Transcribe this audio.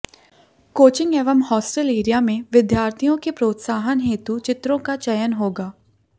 coaching एवं hostel area में विद्यार्थियों के प्रोत्साहन हेतु चित्रों का चयन होगा